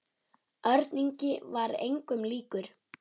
Örn Ingi var engum líkur.